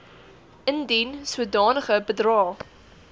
indien sodanige bedrae